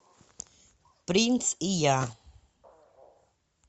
принц и я